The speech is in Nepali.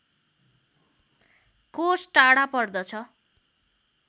कोष टाढा पर्दछ